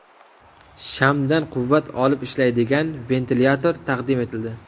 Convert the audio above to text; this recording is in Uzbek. Shamdan quvvat olib ishlaydigan ventilyator taqdim etildi .